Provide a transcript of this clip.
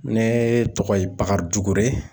Ne tɔgɔ ye Bakari Dukure.